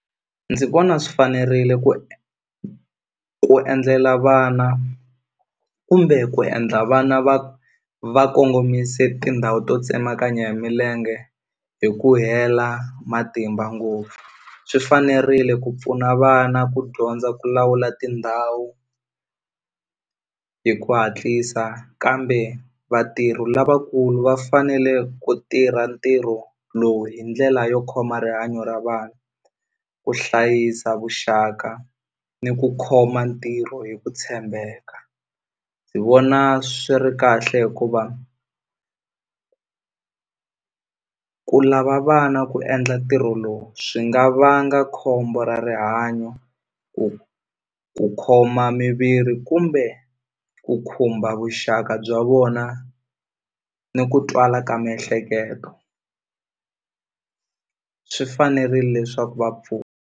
Ndzi vona swi fanerile ku ku endlela vana kumbe ku endla vana va va kongomise tindhawu to tsemakanya hi milenge hi ku hela matimba ngopfu swi fanerile ku pfuna vana ku dyondza ku lawula tindhawu hi ku hatlisa kambe vatirhi lavakulu va fanele ku tirha ntirho lowu hi ndlela yo khoma rihanyo ra vanhu ku hlayisa vuxaka ni ku khoma ntirho hi ku tshembeka ndzi vona swi ri kahle hikuva ku lava vana ku endla ntirho lowu swi nga vanga khombo ra rihanyo ku ku khoma miviri kumbe ku khumba vuxaka bya vona ni ku twala ka miehleketo swi fanerile leswaku .